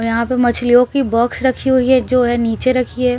यहाँ पर मछलियों की बॉक्स रखी हुई है जो है नीचे रखी है--